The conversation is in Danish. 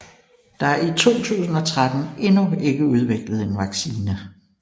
Der er i 2013 endnu ikke udviklet en vaccine